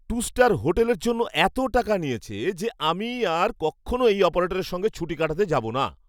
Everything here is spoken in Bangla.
টু স্টার হোটেলের জন্য এত টাকা নিয়েছে যে আমি আর কক্ষণো এই অপারেটরের সঙ্গে ছুটি কাটাতে যাবো না।